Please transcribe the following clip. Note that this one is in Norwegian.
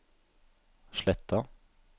Sletta